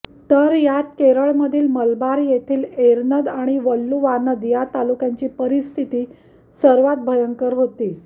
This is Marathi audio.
तर यात केरळमधील मालाबार येथील एरनद आणि वल्लुवानद या ताकुल्यांची परिस्थिती सर्वात भयंकर होती